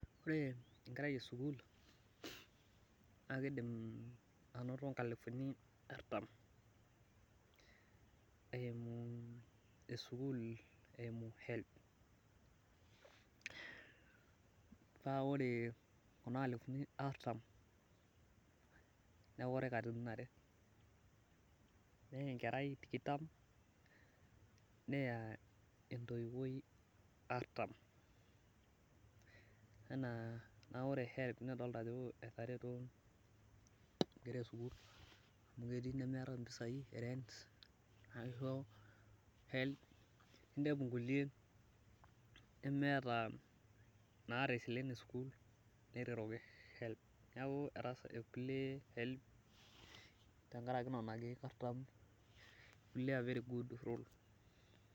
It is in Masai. ore enkerai esukuul naa kidim anoto inkusuni artam eumu helb, naa ore kuna alifuni artam newori katitia are, neya enkerai tikitam neya entoiwuoi artam, naa ore helb etareto, inkera esukul amu ketii inemeta impisai erent inepu inkulie nemeta iropiyiani esukul netareto helb.